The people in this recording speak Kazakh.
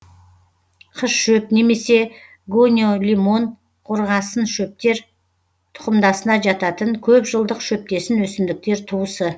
қызшөп немесе гониолимон қорғасыншөптер тұқымдасына жататын көп жылдық шөптесін өсімдіктер туысы